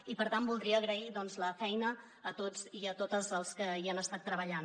i per tant voldria agrair doncs la feina a tots i a totes els que hi han estat treballant